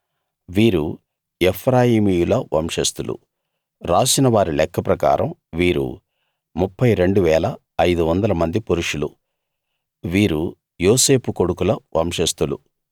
వీరు ఎఫ్రాయిమీయుల వంశస్థులు రాసిన వారి లెక్క ప్రకారం వీరు 32 500 మంది పురుషులు వీరు యోసేపు కొడుకుల వంశస్థులు